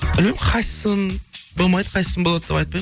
білмеймін қайсысын болмайды қайсысын болады деп айтпаймын